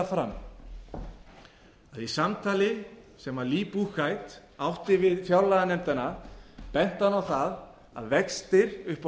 fram að í samtali sem lee buchheit átti við fjárlaganefndina benti hann á það að vextir upp